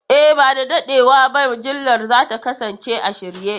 E, ba da daɗewa ba mujallar za ta kasance a shirye.